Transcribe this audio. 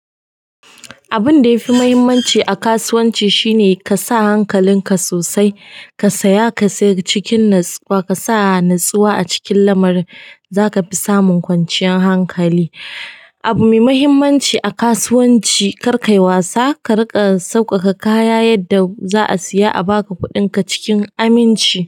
Abun da yafi muhimmanci a kasuwanci shine ka sa hankalinka sosai, ka saya ka sayar cikin natsuwa. Ka sa natsuwa a cikin lamarin zaka fi samun kwanciyar hankali. Abu mai muhimmanci a kasuwanci kar kayi wasa, ka riƙa sauƙaƙa kaya yadda za'a siya a baka kuɗinka cikin aminci.